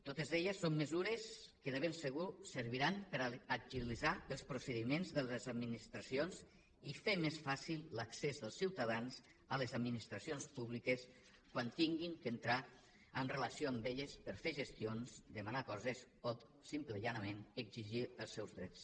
totes elles són mesures que de ben segur serviran per agilitzar els procediments de les administracions i fer més fàcil l’accés dels ciutadans a les administracions públiques quan hagin d’entrar en relació amb elles per fer gestions demanar coses o simplement i planerament exigir els seus drets